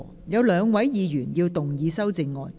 有兩位議員要動議修正案。